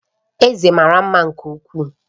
Eze mara mma nke ukwuu